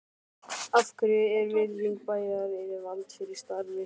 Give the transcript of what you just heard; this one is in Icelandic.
Af hverju er virðing bæjaryfirvalda fyrir starfinu svo lítil?